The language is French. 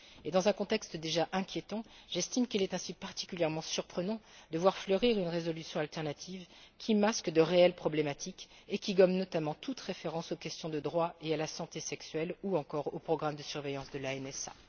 Et dans un contexte déjà inquiétant, j'estime qu'il est particulièrement surprenant de voir fleurir une résolution alternative, qui masque de réelles problématiques et qui gomme notamment toute référence aux questions de droit et à la santé sexuelle ou encore au programme de surveillance de la NSA.